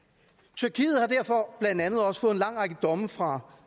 tyrkiet har derfor blandt andet også fået en lang række domme fra